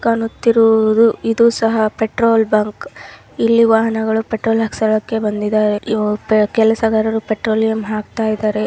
ಕಾಣುತ್ತಿರುವುದು ಇದು ಸಹ ಪೆಟ್ರೋಲ್ ಬಂಕ್ ಇಲ್ಲಿ ವಾಹನಗಳು ಪೆಟ್ರೋಲ್ ಹಾಕ್ಸ್ಕೊಳ್ಳೋಕೆ ಬಂದಿದ್ದಾರೆ ಕೆಲಸಗಾರರು ಪೆಟ್ರೋಲಿಯಂ ಹಾಕ್ತಾ ಇದ್ದಾರೆ.